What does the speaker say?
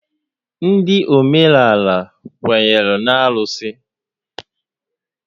Ndị óménàlà kwenyere na arụsị